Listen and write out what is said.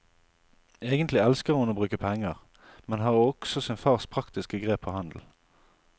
Egentlig elsker hun å bruke penger, men har også sin fars praktiske grep på handel.